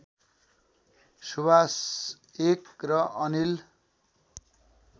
सुवास १ र अनिल